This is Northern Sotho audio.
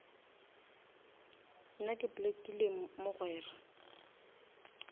nna ke blockile mogwera